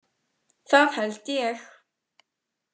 Það held ég.